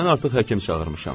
Mən artıq həkim çağırmışam.